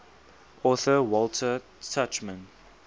author walter tuchman